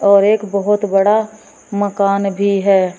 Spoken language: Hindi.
और एक बहुत बड़ा मकान भी है।